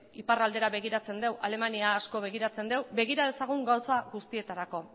iparraldera begiratzen dugu alemaniara asko begiratzen dugu begira dezagun gauza guztietarako